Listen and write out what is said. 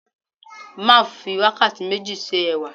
Marv fi wakati meji se ẹwà